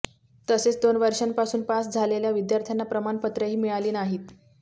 तसेच दोन वर्षांपासुन पास झालेल्या विद्यार्थ्यांना प्रमाणपत्रेही मिळाली नाहीत